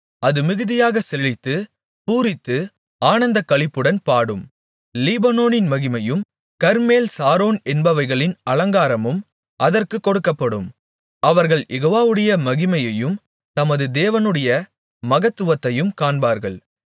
அது மிகுதியாகச் செழித்து பூரித்து ஆனந்தக்களிப்புடன் பாடும் லீபனோனின் மகிமையும் கர்மேல் சாரோன் என்பவைகளின் அலங்காரமும் அதற்குக் கொடுக்கப்படும் அவர்கள் யெகோவாவுடைய மகிமையையும் நமது தேவனுடைய மகத்துவத்தையும் காண்பார்கள்